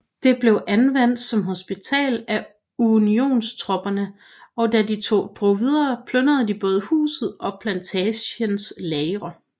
Det blev anvendt som hospital af Unionstropperne og da de drog videre plyndrede de både huset og plantagens lagre